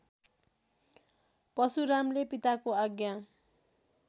परशुरामले पिताको आज्ञा